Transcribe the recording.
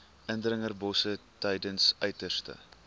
indringerbosse tydens uiterste